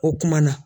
O kuma na